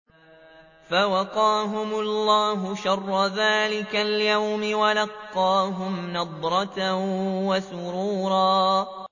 فَوَقَاهُمُ اللَّهُ شَرَّ ذَٰلِكَ الْيَوْمِ وَلَقَّاهُمْ نَضْرَةً وَسُرُورًا